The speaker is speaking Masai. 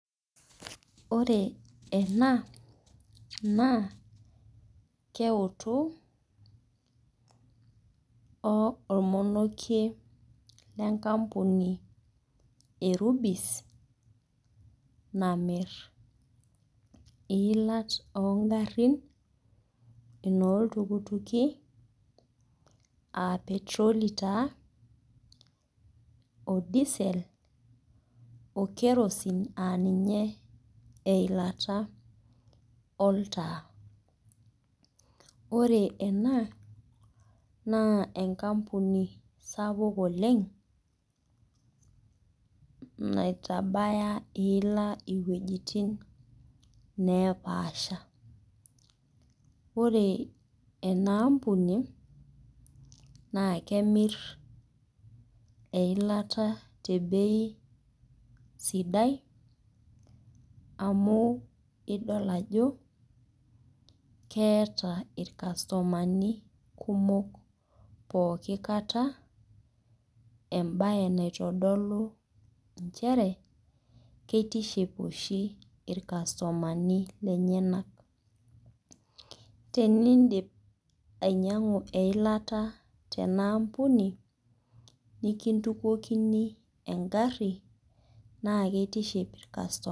Ore ena na keotu ormonokie lenkampuni e rubis namir iilat ongarin noltukutuki aa petroli taa o disel o kerosin aa ninye eilata oltaa ore ena na enkampuni sapuk oleng naitabaya iila wuejitin napaasha ore enaampuni na kemir eilata tebei sidai amu idol ajo keeta irkastomani kumok pooki kata embae naitodolu nchere kitiship oshi irkastomani lenyenak enidip ainyangu eilata nikintukokini engari na kitiship irkastomani.